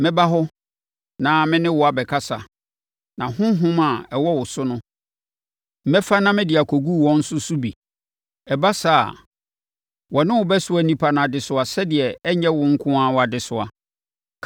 Mɛba hɔ na me ne wo abɛkasa na honhom a ɛwɔ wo so no, mɛfa na mede akɔgu wɔn nso so bi; ɛba saa a, wɔne wo bɛsoa nnipa no adesoa sɛdeɛ ɛrenyɛ wo nko ara wʼadesoa.